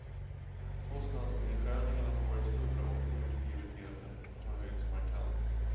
Kostnadsnedskärningarna har varit stora och produktiviteten har höjts markant.